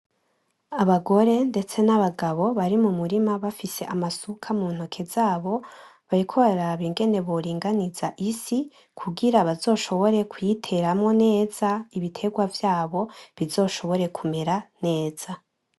Abagore ndetse n'abagabo bari mu murima bafise amasuka mu ntoke zabo, bariko baraba ingene boringaniza isi kugira bazoshobore kuyiteramwo neza ibiterwa vyabo bizoshobore kumera neza.